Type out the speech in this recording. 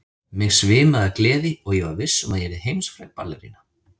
Mig svimaði af gleði og ég var viss um að ég yrði heimsfræg ballerína.